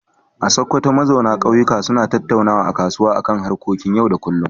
A Sokoto, mazauna kauyuka suna tattaunawa a kasuwa a kan harkokin yau da kullum.